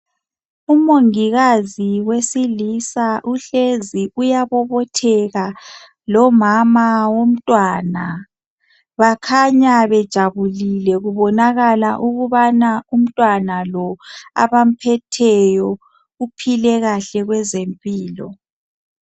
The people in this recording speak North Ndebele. Umongikazi wesilisa uhlezi uyabobotheka lomama womntwana bakhanya bejabulile kubonakala ukuba umntwana lo abamphetheyo uphile kahle kwezempilo.